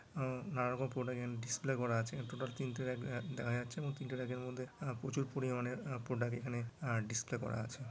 আহ নানারকম প্রোডাক্ট এখানে ডিসপ্লে করা আছে টোটাল তিনটে রাক দেখা যাচ্ছে এবং তিনটে রাখ -এর মধ্যে আহ প্রচুর পরিমানের প্রোডাক্ট এখানে আহ ডিসপ্লে করা আছে।